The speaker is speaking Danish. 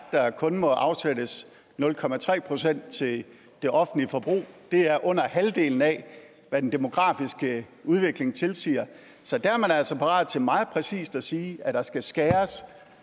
der kun må afsættes nul procent til det offentlige forbrug det er under halvdelen af hvad den demografiske udvikling tilsiger så der er man altså parat til meget præcist at sige at der skal skæres